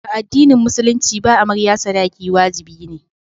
A addinin musulunci ba amarya sadaki wajibi ne.